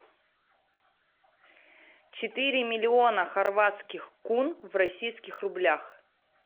четыре миллиона хорватских кун в российских рублях